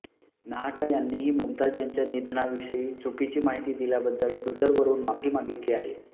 नाहटा यांनीही मुमताज यांच्या निधनाविषयी चुकीची माहिती दिल्याबद्दल ट्विटरवरुन माफी मागितली आहे